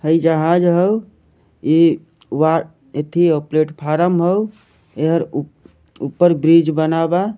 हे जहाज हो इ ए थी हो प्लेटफार्म हो यहाँ ऊपर ब्रिज बनावा --